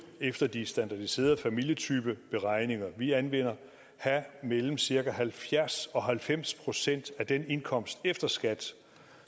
efter de standardiserede familietypeberegninger vi anvender have mellem cirka halvfjerds og halvfems procent af den indkomst efter skat